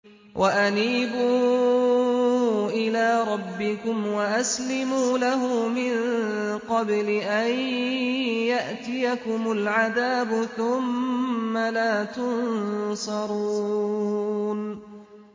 وَأَنِيبُوا إِلَىٰ رَبِّكُمْ وَأَسْلِمُوا لَهُ مِن قَبْلِ أَن يَأْتِيَكُمُ الْعَذَابُ ثُمَّ لَا تُنصَرُونَ